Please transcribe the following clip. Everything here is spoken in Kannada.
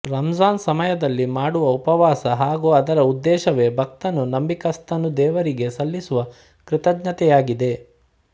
ರಂಜಾನ್ಸಮಯದಲ್ಲಿ ಮಾಡುವ ಉಪವಾಸ ಹಾಗು ಅದರ ಉದ್ದೇಶವೇ ಭಕ್ತನು ನಂಬಿಕಸ್ಥನು ದೇವರಿಗೆ ಸಲ್ಲಿಸುವ ಕೃತಜ್ಞತೆಯಾಗಿದೆ